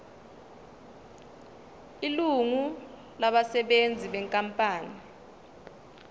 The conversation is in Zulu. ilungu labasebenzi benkampani